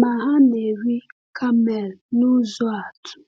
Ma ha na-eri kamel n’ụzọ atụ,